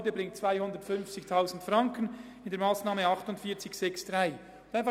Das sind nochmals 250 000 Franken durch die Massnahme 48.6.3.